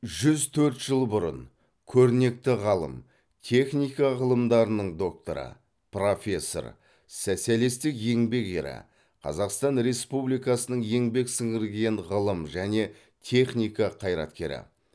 жүз төрт жыл бұрын көрнекті ғалым техника ғылымдарының докторы профессор социалистік еңбек ері қазақстан республикасының еңбек сіңірген ғылым және техника қайраткері